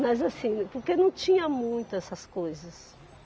Mas assim, porque não tinha muito essas coisas.